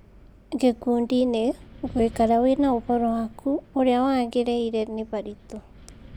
Gĩkundiinĩ, gũikara wĩna ũhoro waku ũrĩa wagĩrĩire nĩharitũ